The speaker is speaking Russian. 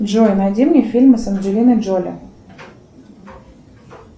джой найди мне фильмы с анджелиной джоли